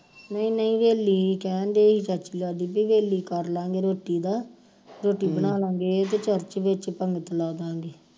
ਨਹੀਂ ਨਹੀਂ ਹਵੇਲੀ ਕਹਿਣ ਦਏ ਹੀ ਬਈ ਹਵੇਲੀ ਕਰਲਾਂਗੇ ਰੋਟੀ ਦਾ ਰੋਟੀ ਬਣਾਲਾਂਗੇ ਤੇ ਚਰਚ ਵਿਚ ਪੰਗਤ ਲਾਦਾਗੇ